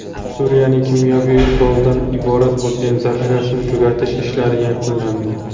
Suriyaning kimyoviy quroldan iborat bo‘lgan zaxirasini tugatish ishlari yakunlandi.